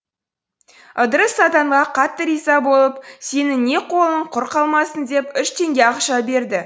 ыдырыс сатанға қатты риза болып сенің де қолың құр қалмасын деп үш теңге ақша берді